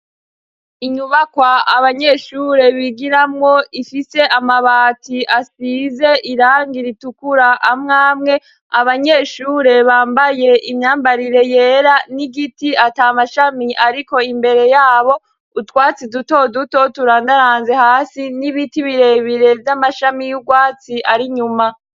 Inyubakwa abanyeshure bigiramo ifite amabati asize irang iritukura amwamwe abanyeshure bambaye imyambarire yera n'igiti atamashami ariko imbere yabo utwatsi duto duto turandaranze hasi n'ibiti birebire z'amashami y'ubwatsi ari nyuma.